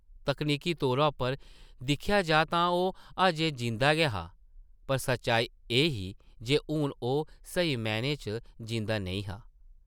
तकनीकी तौरा उप्पर दिक्खेआ जाऽ तां ओह् अजें जींदा गै हा, पर सच्चाई एह् ही जे हून ओह् स्हेई मैह्नें च जींदा नेईं हा ।